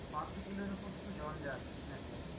পাঁচশো কিলোর উপর শুধু জঞ্জাল net এ।